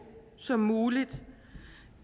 som muligt